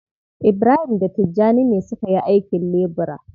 Ibrahim da Tijjani ne suka yi aikin lebura.